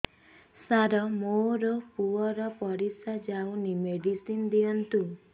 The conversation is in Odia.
ସାର ମୋର ପୁଅର ପରିସ୍ରା ଯାଉନି ମେଡିସିନ ଦିଅନ୍ତୁ